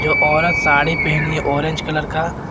दो औरत साड़ी पहनी ऑरेंज कलर का।